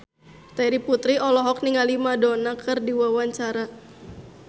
Terry Putri olohok ningali Madonna keur diwawancara